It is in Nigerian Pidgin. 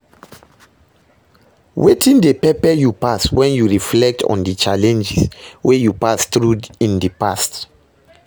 Wetin dey pepe you pass when you reflect on di challenges wey you pass through in dey past?